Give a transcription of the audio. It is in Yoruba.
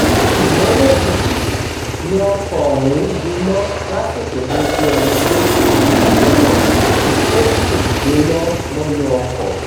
ṣùgbọ́n lójijì ni ọkọ̀ ọ̀hún gbiná lásìkò tó dé ẹnu géètì iléeṣẹ́ náà tó sì jóná mọ́nú ọkọ̀